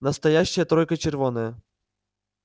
настоящая тройка червонная